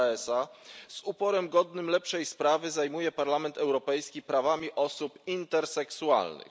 Moraesa z uporem godnym lepszej sprawy zajmuje Parlament Europejski prawami osób interseksualnych.